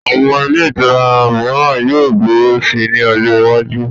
Àwọn ilé ìtura mìíran yóò gbòòrò si ní ọjọ iwájú